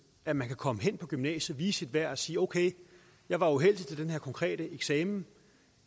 at man kan komme hen på gymnasiet vise sit værd og sige okay jeg var uheldig til den her konkrete eksamen